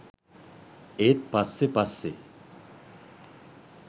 ඒත් පස්සෙ පස්සෙ